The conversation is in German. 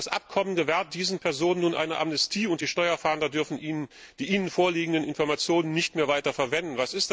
Das Abkommen gewährt diesen Personen nun eine Amnestie, und die Steuerfahnder dürfen die ihnen vorliegenden Informationen nicht mehr weiter verwenden.